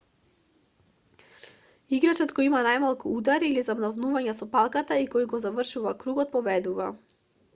играчот која има најмалку удари или замавнувања со палката и кој ќе го заврши кругот победува